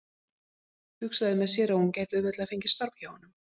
Hugsaði með sér að hún gæti auðveldlega fengið starf hjá honum.